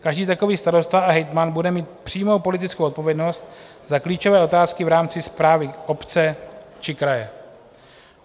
Každý takový starosta a hejtman bude mít přímou politickou odpovědnost za klíčové otázky v rámci správy obce či kraje.